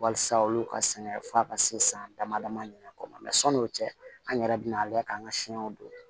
Walasa olu ka sɛgɛn f'a ka se san dama dama ɲin'a kɔ ma mɛ sɔni o cɛ an yɛrɛ bina ale k'an ka siɲɛw don